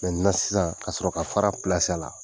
sisan ka sɔrɔ ka fara a la.